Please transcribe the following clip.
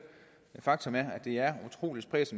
faktum at det er utrolig spredt